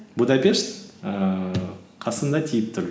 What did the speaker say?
будапешт ііі қасында тиіп тұр